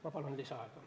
Ma palun lisaaega!